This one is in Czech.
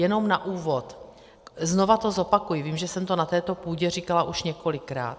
Jenom na úvod, znovu to zopakuji, vím, že jsem to na této půdě říkala již několikrát.